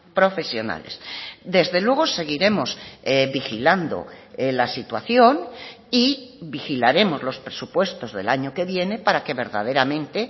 profesionales desde luego seguiremos vigilando la situación y vigilaremos los presupuestos del año que viene para que verdaderamente